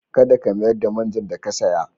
Kada ka mayar da man jan da ka saya.